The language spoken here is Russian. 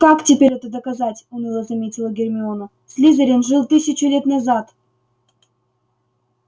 как теперь это доказать уныло заметила гермиона слизерин жил тысячу лет назад